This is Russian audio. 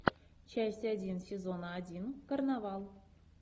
часть один сезона один карнавал